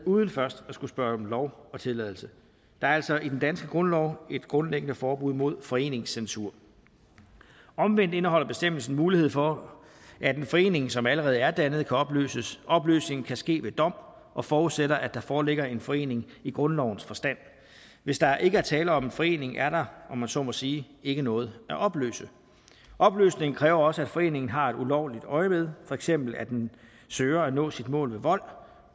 uden først at skulle spørge om lov og tilladelse der er altså i den danske grundlov et grundlæggende forbud mod foreningscensur omvendt indeholder bestemmelsen mulighed for at en forening som allerede er dannet kan opløses opløsningen kan ske ved dom og forudsætter at der foreligger en forening i grundlovens forstand hvis der ikke er tale om en forening er der om man så må sige ikke noget at opløse opløsning kræver også at foreningen har et ulovligt øjemed for eksempel at den søger at nå sit mål med vold